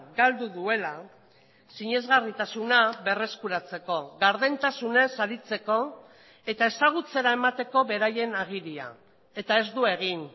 galdu duela sinesgarritasuna berreskuratzeko gardentasunez aritzeko eta ezagutzera emateko beraien agiria eta ez du egin